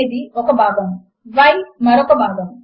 ఇప్పుడు వాటిని ఎలైన్ చేయడము కొరకు మార్క్ అప్ ను తిరిగి వ్రాద్దాము